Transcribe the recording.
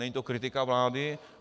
Není to kritika vlády.